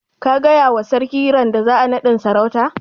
Ka gaya wa sarki randa za'a yi naɗin sarautan?